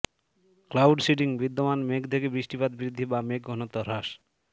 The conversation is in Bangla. ক্লাউড সিডিং বিদ্যমান মেঘ থেকে বৃষ্টিপাত বৃদ্ধি বা মেঘ ঘনত্ব হ্রাস